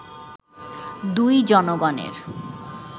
দুই জনগণের